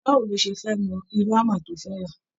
Báwo ló ṣe fẹ mọ irú hámà tó fẹ ra?